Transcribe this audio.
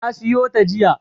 Na siyo ta jiya.